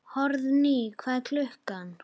Hróðný, hvað er klukkan?